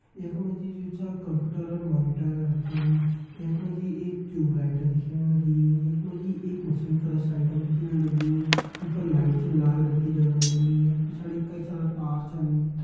यख मां जि जु छ कंप्यूटर और मॉनिटर रखयूं यख मा जि एक टयूब लाइट दिखेण लगीं यख मां जि एक मशीन कर साइड म दिखेण लगीं ये पर लाइट च लाल रंग की जगण लगीं पिछाड़ी कई सारा तार छन।